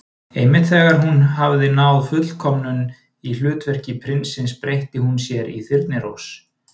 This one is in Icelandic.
Einmitt þegar hún hafði náð fullkomnun í hlutverki prinsins breytti hún sér í Þyrnirós.